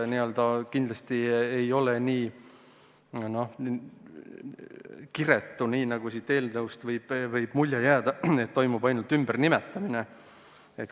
Kindlasti ei ole tegu lihtsalt kiretu sammuga, nagu siit eelnõust võib mulje jääda: et toimub ainult ümbernimetamine.